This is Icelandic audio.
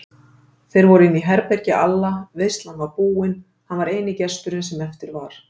Þeir voru inní herbergi Alla, veislan var búin, hann var eini gesturinn sem eftir var.